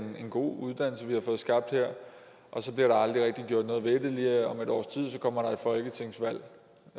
er en god uddannelse vi har fået skabt her og så bliver der aldrig rigtig gjort noget ved det og om et års tid kommer der et folketingsvalg